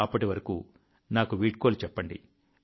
అప్పటి వరకు నాకు వీడ్కోలు చెప్పండి